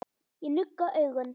Ég nugga augun.